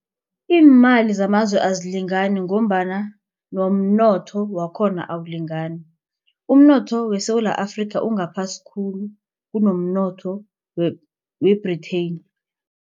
Iimali zamazwe azilingani ngombana nomnotho wakhona awulingani umnotho weSewula Afrika ungaphasi khulu kunomnotho we-Britain.